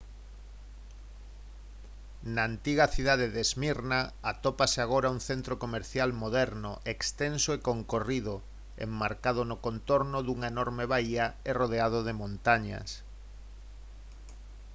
na antiga cidade de smyrna atópase agora un centro comercial moderno extenso e concorrido enmarcado no contorno dunha enorme baía e rodeado de montañas